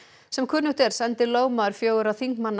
sem kunnugt er sendi lögmaður fjögurra þingmanna